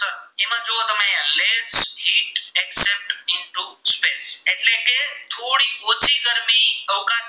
એટલે કે થોડીક ઓછી ગરમી અવકાશ